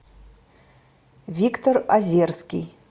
виктор озерский